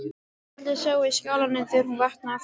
Allir sváfu í skálanum þegar hún vaknaði aftur.